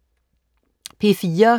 P4: